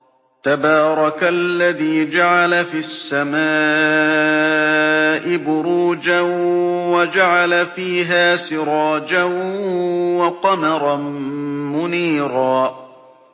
تَبَارَكَ الَّذِي جَعَلَ فِي السَّمَاءِ بُرُوجًا وَجَعَلَ فِيهَا سِرَاجًا وَقَمَرًا مُّنِيرًا